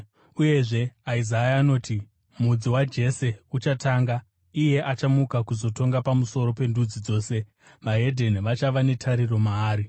Uyezve, Isaya anoti, “Mudzi waJese uchatunga, iye achamuka kuzotonga pamusoro pendudzi dzose; veDzimwe Ndudzi vachava netariro maari.”